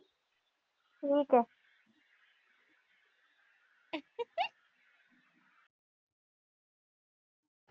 ਠੀਕ ਆ।